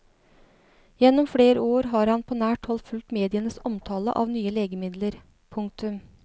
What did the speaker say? Gjennom flere år har han på nært hold fulgt medienes omtale av nye legemidler. punktum